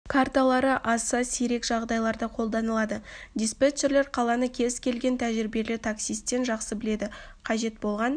карталары аса сирек жағдайларда қолданылады диспетчерлер қаланы кез келген тәжірибелі таксистен жақсы біледі қажет болған